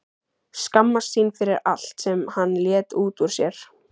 Skammast sín fyrir allt sem hann lét út úr sér.